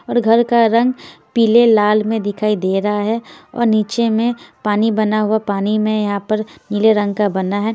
और घर का रंग पीले लाल में दिखाई दे रहा है और नीचे में पानी बना हुआ पानी में यहाँ पर नीले रंग का बना है।